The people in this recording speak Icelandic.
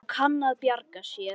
Og kann að bjarga sér.